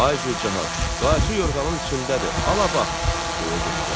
Ay Gülcahan, qayçı yorğanın içindədir, ala bax, deyə göstərdilər.